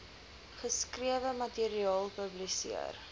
geskrewe materiaal publiseer